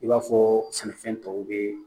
I b'a fɔ sɛnɛfɛn tɔw be